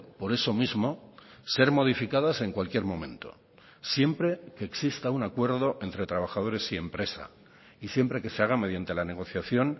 por eso mismo ser modificadas en cualquier momento siempre que exista un acuerdo entre trabajadores y empresa y siempre que se haga mediante la negociación